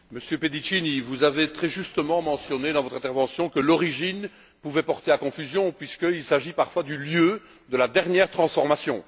Monsieur le Président, Monsieur Pedicini, vous avez très justement mentionné, dans votre intervention, que l'origine pouvait porter à confusion, puisqu'il s'agit parfois du lieu de la dernière transformation.